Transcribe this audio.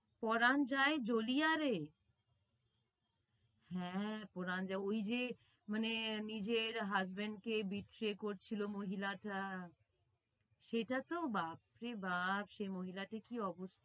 পরান যায় জ্বলিয়া রে হ্যাঁ পরান যায় ওই যে মানে নিজের husband কে করছিলো মহিলাটা। সেটা তো বাপ রে বাপ সেই মহিলাটি কি